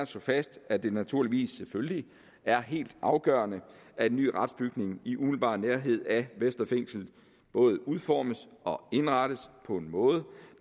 slå fast at det naturligvis er helt afgørende at en ny retsbygning i umiddelbar nærhed af vestre fængsel både udformes og indrettes på en måde